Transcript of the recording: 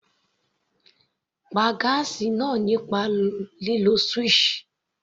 Pá gáásì náà nípa lílo switch.